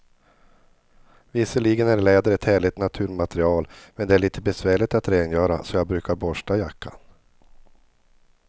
Visserligen är läder ett härligt naturmaterial, men det är lite besvärligt att rengöra, så jag brukar borsta jackan.